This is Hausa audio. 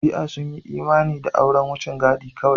Shi'a sun yi imani da auren wucin gadi kawai.